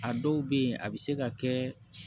A dɔw bɛ yen a bɛ se ka kɛ